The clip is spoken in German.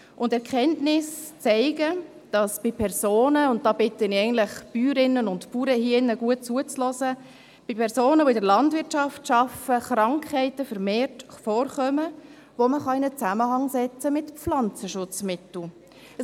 Die Erkenntnisse zeigen – und da bitte ich die Bäuerinnen und Bauern im Saal aufmerksam mitzuhören –, dass bei Personen, welche in der Landwirtschaft arbeiten, vermehrt Krankheiten vorkommen, die man in einen Zusammenhang mit Pflanzenschutzmitteln stellen kann.